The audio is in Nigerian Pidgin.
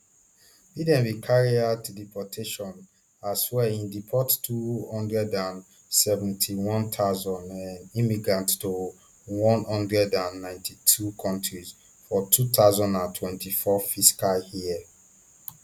biden bin carry out deportations as well im deport two hundred and seventy-one thousand um immigrants to one hundred and ninety-two kontris for two thousand and twenty-four fiscal year